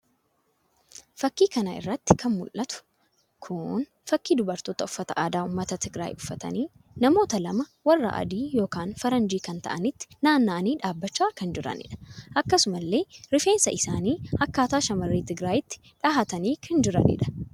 fakii kana irratti kan mul'atu kun fakii dubaartoota uffata aadaa ummata Tigiraay uffatanii namoota lama warra adii yookin Faranjii kan ta'anitti naanna'anii dhaabachaa kan jiranidha. akkasumallee rifeensa isaani akkataa shamarree Tigiraayitti dhahatanii kan jiranidha.